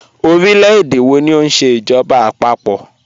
Ọ̀rílẹ̀-èdè wọ̀ ní o nṣẹ ijọba àpapọ̀?